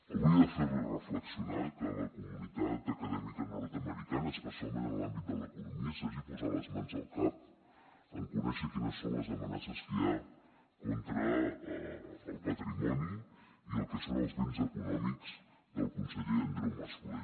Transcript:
hauria de fer li reflexionar que la comunitat acadèmica nord americana especialment en l’àmbit de l’economia s’hagi posat les mans al cap en conèixer quines són les amenaces que hi ha contra el patrimoni i el que són els béns econòmics del conseller andreu mas colell